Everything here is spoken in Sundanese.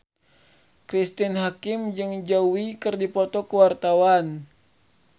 Cristine Hakim jeung Zhao Wei keur dipoto ku wartawan